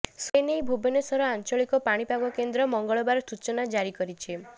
ଏ ନେଇ ଭୁବନେଶ୍ୱର ଆଞ୍ଚଳିକ ପାଣିପାଗ କେନ୍ଦ୍ର ମଙ୍ଗଳବାର ସୂଚନା ଜାରି କରିଛି